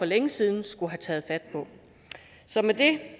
længe siden skulle have taget fat på så med det